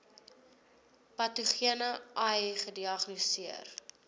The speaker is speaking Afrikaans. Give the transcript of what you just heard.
patogene ai gediagnoseer